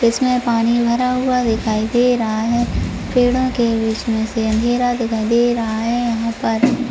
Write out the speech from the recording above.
इसमें पानी भरा हुआ दिखाई दे रहा है पेड़ों के बीच में से अंधेरा दिखाई दे रहा है यहां पर --